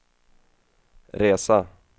resa